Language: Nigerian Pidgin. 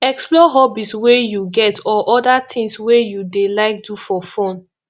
explore hobbies wey you get or oda things wey you dey like do for fun